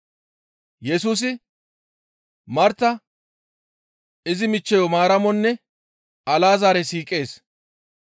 Yesusi Marta izi michcheyo Maaramonne Alazaare siiqees.